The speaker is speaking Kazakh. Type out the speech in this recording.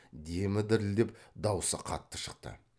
демі дірілдеп даусы қатты шықты